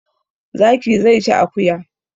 Zaki zai ci akuya